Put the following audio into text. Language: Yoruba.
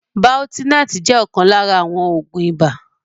Baltenart jẹ́ ọ̀kan lára àwọn Oògún ibà